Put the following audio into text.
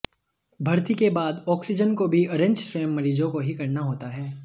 भर्ती के बाद ऑक्सीजन को भी अरेंज स्वयं मरीजों को ही करना होता है